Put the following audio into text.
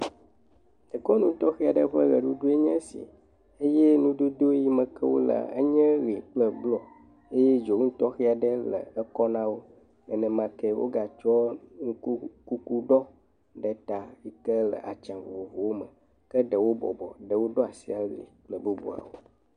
Dekɔnu tɔxɛ aɖe ƒe ʋeɖuɖu enye esi, eye nudodo yi me ke wole nye ʋe kple blɔ eye dzonu tɔxe aɖe le ekɔ na wo, nenemakee wogatsɔ nuku kuku ɖɔ yi ke le atsua vovovo me, ke ɖewo bɔbɔ, ɖewo ɖo asi ali kple bubuawo.